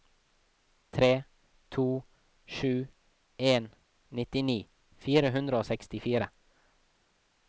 tre to sju en nitti fire hundre og sekstifire